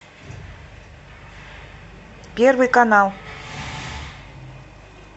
первый канал